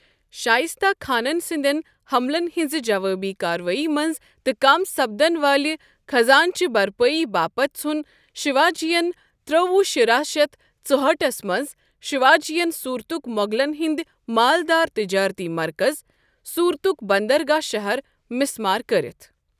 شائستہ خانن سندین ہملن ہنزِ جوٲبی كاروٲیی منز تہٕ كم سپدن والہِ خزانچہِ بھرپٲیی باپت ژھُن شِوا جی ین ترٲوو شُراہ شیتھ ژُہأٹھس منٛز شیواجیَن سوٗرتُک مو٘غلن ہند مالدار تجٲرتی مرکز ، سوُرتُك بندرگاہ شَہر مِسمار كرِتھ ۔